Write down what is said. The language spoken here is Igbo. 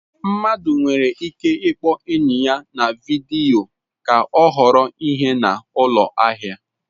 Mmadụ nwere ike ịkpọ enyi ya vidiyo ka ọ họrọ ihe na ụlọ ahịa.